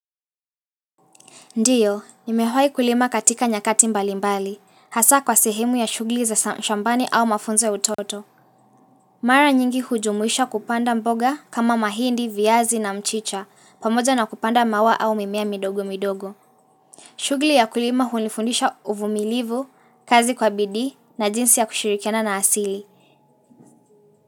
Ndio, nimewahi kulima katika nyakati mbalimbali, hasa kwa sehemu ya shughuli za shambani au mafunzo utoto. Mara nyingi hujumuisha kupanda mboga kama mahindi, viazi na mchicha, pamoja na kupanda maua au mimea midogo midogo. Shughuli ya kulima hunifundisha uvumilivu, kazi kwa bidii na jinsi ya kushirikiana na asili.